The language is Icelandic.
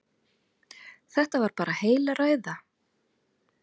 Þetta var bara heil ræða.